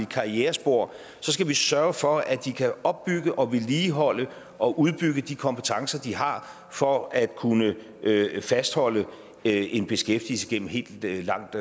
karrierespor skal vi sørge for at de kan opbygge og vedligeholde og udbygge de kompetencer de har for at kunne fastholde en beskæftigelse gennem et langt